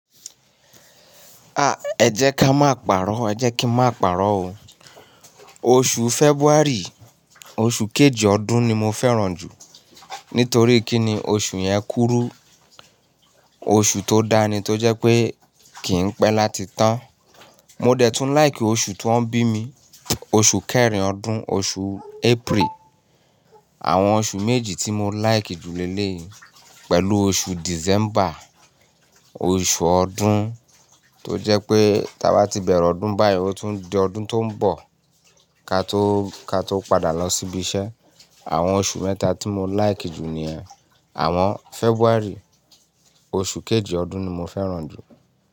Ah! Ẹ jẹ́ ká má pàró, ẹ jẹ́ kí n má pàró o. Oṣù February, oṣù kejì ọdún ni mo fẹ́ràn jù nítorí kí ni oṣù yẹn kúrú. Oṣù tó dáni tó jẹ́ pé kì í pẹ́ láti tàn. Mo dẹ̀ tún like oṣù tí wọ́n bí mi, oṣù kẹrin ọdún, oṣù April. Àwọn oṣù méjì tí mo like jùlẹ́ lè pẹ̀lú oṣù December, oṣù ọdún tó jẹ́ pé tí a bá ti bẹ̀rẹ̀ ọdún báyìí, ó tún di ọdún tó ń bọ̀ ka tó, ka tó padà lọ síbi iṣẹ́. Àwọn oṣù mẹ́ta tí mo like jù ni ẹ. Àwọn February, oṣù kejì ọdún ni mo fẹ́ràn jù.